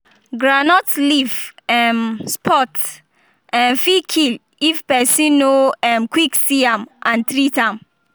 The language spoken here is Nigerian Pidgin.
groundnut leaf um spot um fit kill if person no um quick see am and treat am.